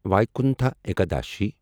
Vaikuntha Ekadashi